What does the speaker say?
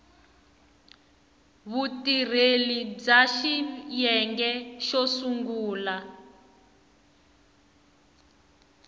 vutirheli bya xiyenge xo sungula